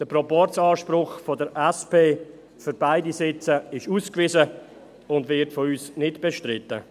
Der Proporz-Anspruch der SP für beide Sitze ist ausgewiesen und wird nicht bestritten.